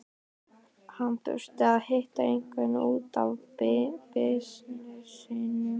Hann þurfti að hitta einhvern út af bisnessinum.